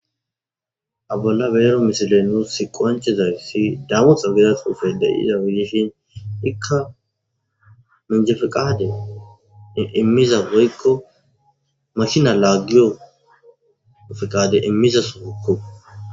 ha bolla beero misile nuus si qoanchezayssi damotxa gera suufede iza wiyishin ikka menjefiqade immiza weykko mashina laagiyofiqade immiza sugukko